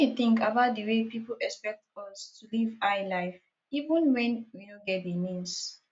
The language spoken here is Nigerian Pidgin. wetin you think about di way people expect us to live high life even when we no get di means